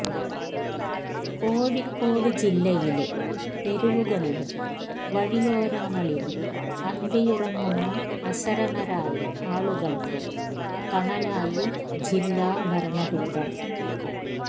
കോഴിക്കോട് ജില്ലയിലെ തെരുവുകളിലും വഴിയോരങ്ങളിലും അന്തിയുറങ്ങുന്ന അശരണരായ ആളുകള്ക്ക് തണലായി ജില്ലാ ഭരണകൂടം